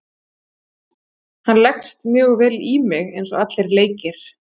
Hann leggst mjög vel í mig eins og allir leikir.